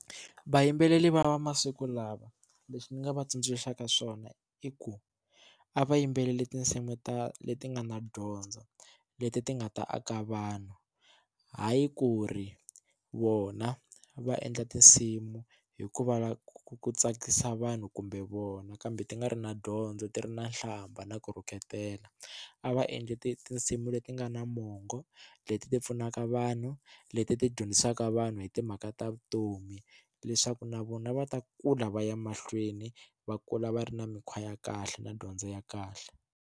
Vayimbeleri va masiku lawa leswi ni nga va tsundzuxaka swona i ku a va yimbeleli tinsimu ta leti nga na dyondzo leti ti nga ta aka vanhu hayi ku ri vona va endla tinsimu hikuva ku tsakisa vanhu kumbe vona kambe ti nga ri na dyondzo ti ri na nhlamba na ku rhuketela a va endli ti tinsimu leti nga na movha mongo leti ti pfunaka vanhu leti ti dyondzisaka vanhu hi timhaka ta vutomi leswaku na vona va ta kula va ya mahlweni va kula va ri na mikhwa ya kahle na dyondzo ya kahle.